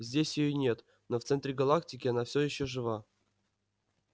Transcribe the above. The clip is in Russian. здесь её нет но в центре галактики она все ещё жива